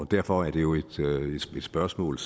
derfor er det jo et spørgsmål